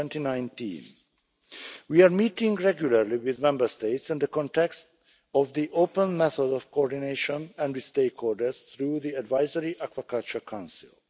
2019. We are meeting regularly with Member States in the context of the open method of coordination and with stakeholders through the Advisory Aquaculture Council.